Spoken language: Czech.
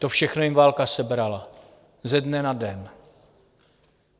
To všechno jim válka sebrala, ze dne na den.